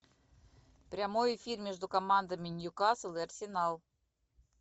прямой эфир между командами ньюкасл и арсенал